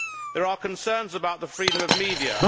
There are concerns about the freedom of the media.